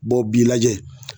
bɔn b'i lajɛ